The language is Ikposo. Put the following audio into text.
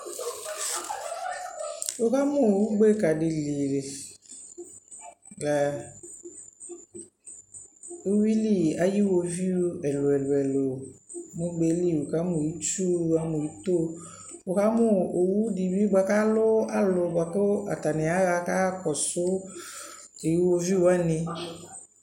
Wʋkamʋ ugbeka di li ɛ owili ayʋwoviʋ ɛlʋɛlʋɛlʋ nʋ ugbe li, wʋkamʋ itsu, wʋkamʋ ito, wʋkamʋ owu di bi boa kʋ alʋ boa kʋ atani aɣa kayaɣakɔsʋ iwoviʋ wani